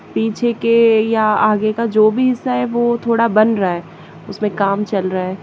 पीछे के या आगे का जो भी हिस्सा है वो थोड़ा बन रहा उसमें काम चल रहा--